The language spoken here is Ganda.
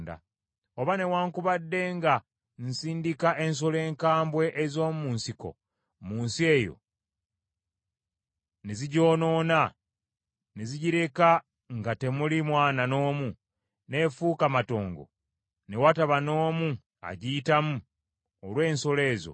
“Oba newaakubadde nga nsindika ensolo enkambwe ez’omu nsiko mu nsi eyo, ne zigyonoona ne zigireka nga temuli mwana n’omu, n’efuuka matongo, ne wataba n’omu agiyitamu olw’ensolo ezo,